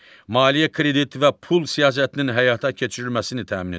Maliyyə kredit və pul siyasətinin həyata keçirilməsini təmin edir.